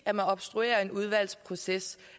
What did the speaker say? at man obstruerer en udvalgsproces